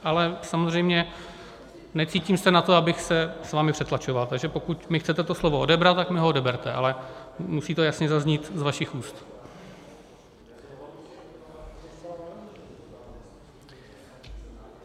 Ale samozřejmě necítím se na to, abych se s vámi přetlačoval, takže pokud mi chcete to slovo odebrat, tak mi ho odeberte, ale musí to jasně zaznít z vašich úst.